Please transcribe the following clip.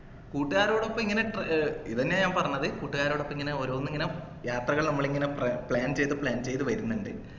കൂട്ടുകാരുടെ ഒപ്പം ഇങ്ങനെ ട്രാ ഇതന്നെയാ ഞാൻ പറഞ്ഞത് കൂട്ടുകാരോടൊപ്പം ഇങ്ങനെ ഓരോന്നിങ്ങനെ യാത്രകൾ നമ്മൾ ഇങ്ങനെ പ്ലേ plan ചെയ്തു plan ചെയ്തു വരുന്നുണ്ട്